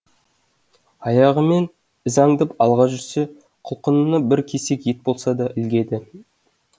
аяғымен із аңдып алға жүрсе құлқынына бір кесек ет болса да ілігеді